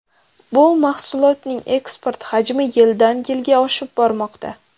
Bu mahsulotning eksport hajmi yildan-yilga oshib bormoqda.